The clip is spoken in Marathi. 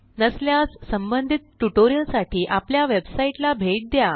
नसल्यास संबंधित ट्युटोरियलसाठी आपल्या वेबसाईटला भेट द्या